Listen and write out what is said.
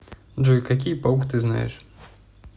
джой какие паук ты знаешь